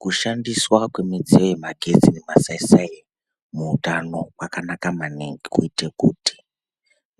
Kushandiswa kwemidziyo yemagetsi nemasai sai muutano kwakanaka maningi kuite kuti